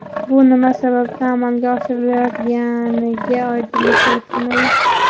Bu nima sababdan amalga oshirilayotganiga oydinlik kiritilmagan.